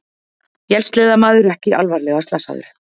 Vélsleðamaður ekki alvarlega slasaður